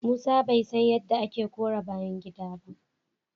Musa bai san yadda ake kora a bayan gida ba.